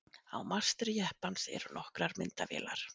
á mastri jeppans eru nokkrar myndavélar